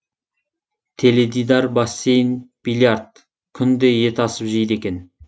теледидар бассейн биллиард күнде ет асып жейді екен